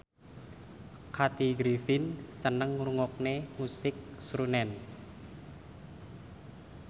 Kathy Griffin seneng ngrungokne musik srunen